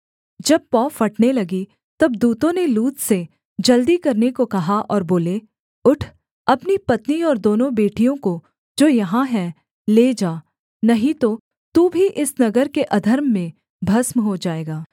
जब पौ फटने लगी तब दूतों ने लूत से जल्दी करने को कहा और बोले उठ अपनी पत्नी और दोनों बेटियों को जो यहाँ हैं ले जा नहीं तो तू भी इस नगर के अधर्म में भस्म हो जाएगा